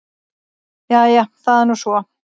Jæja það er nú svo.